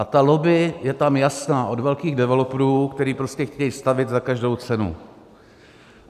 A ta lobby je tam jasná od velkých developerů, kteří prostě chtějí stavět za každou cenu.